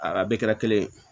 A ka bɛɛ kɛra kelen ye